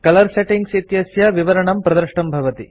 colour settings इत्यस्य विवरणं प्रदृष्टं भवति